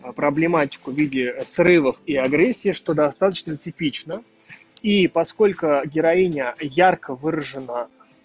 проблематику видео срывов и агрессии что достаточно типична и по сколько героиня ярко выражена